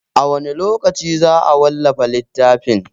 A wane lokaci za a wallafa littafin?